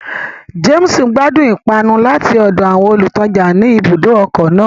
James gbadun ipanu lati ọdọ awọn olutaja ní ibùdó ọkọ náà